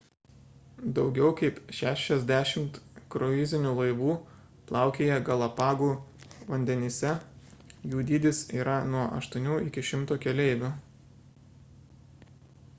daugiau kaip 60 kruizinių laivų plaukioja galapagų vandenyse – jų dydis yra nuo 8 iki 100 keleivių